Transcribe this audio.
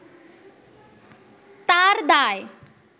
তার দায়